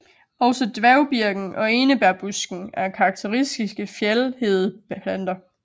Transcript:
Også dværgbirken og enebærbusken er karakteristiske fjeldhedeplanter